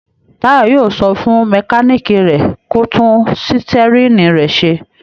Táyọ̀ yóò sọ fún mẹkáníkì rẹ̀ kó tún sítẹ́rínì rẹ̀ ṣe.